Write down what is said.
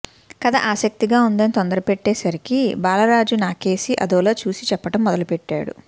కథ ఆసక్తిగా ఉందని తొందరపెట్టే సరికి బాలరాజు నాకేసి అదోలా చూసి చెప్పడం మొదలెట్టాడు